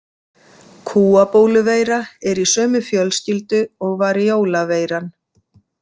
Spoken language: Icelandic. Kúabóluveira er í sömu fjölskyldu og variola-veiran.